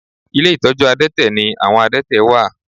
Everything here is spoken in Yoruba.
Ilé ìtọ́jú àdẹ́tẹ̀ ni àwọn àdẹ́tẹ̀ wà